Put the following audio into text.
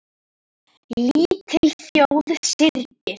Lítil þjóð syrgir.